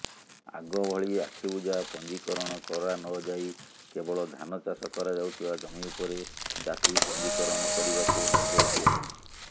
ଆଗଭଳି ଆଖିବୁଜା ପଞ୍ଜିକରଣ କରାନଯାଇ କେବଳ ଧାନଚାଷ କରାଯାଉଥିବା ଜମି ଉପରେ ଚାଷୀ ପଞୀକରଣ କରିବାକୁ ନିର୍ଦ୍ଦେଶ ଦିଆଯାଇଛି